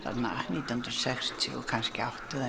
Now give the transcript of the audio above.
nítján hundruð sextíu og átta eða